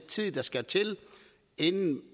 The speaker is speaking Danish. tid der skal til inden